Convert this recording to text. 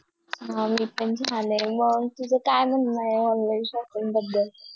हा मी पण छान आहे तुझं काय म्हणणं आहे Online shopping बद्दल